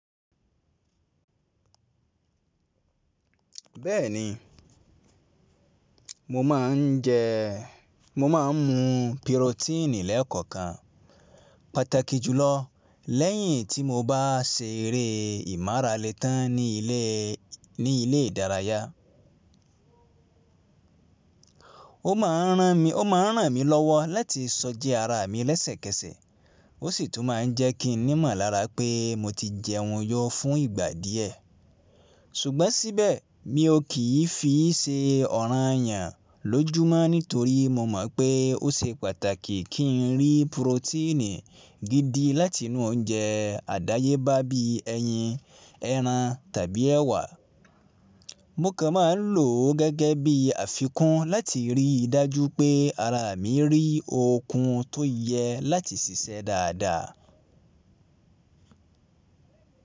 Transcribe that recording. Bẹ́ẹ̀ni, mo máa ń mu pirotini lẹ́ẹ̀kọ̀kan, pàtàkì jùlọ̀ lẹ́yìn tí mo bá ṣe ère ẹ̀ ìmọ̀rà létán ní ilé ìdárayá. Ó máa ń ràn mí lọ́wọ́ láti sọjí ara mí lẹ́sẹ̀kẹsẹ̀, ó sì tú máa ń jẹ́ kí ń ní mọ̀ lára pé mo ti jẹun yó fún ìgbà díẹ̀. Sùgbọ́n síbẹ̀, mi ò kì í fi sé ọràn yàn lójúmọ́ nítorí mo mọ̀ pé ó ṣe pàtàkì kí n rí pirotinì gidi láti inú oúnjẹ àdáyébá bí ẹyin, ẹran tàbí ẹ̀wà. Mò ń ka máa ń lò ó gẹ́gẹ́ bí àfikún láti rí i dájú pé ara mí ń rí okun tó yẹ láti ṣiṣẹ́ dáadáa.